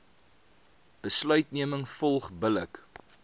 besluitneming volg billik